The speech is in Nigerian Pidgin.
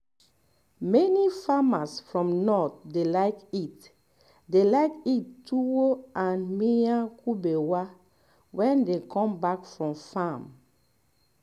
many farmers for north dey like eat dey like eat tuwo and miyan kubewa wen dem come back from farm